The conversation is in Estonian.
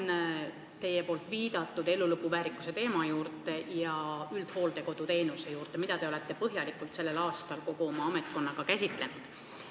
Tulen teie poolt viidatud elulõpu väärikuse teema juurde ja üldhooldekodu teenuse juurde, mida te olete põhjalikult sellel aastal kogu oma ametkonnaga käsitlenud.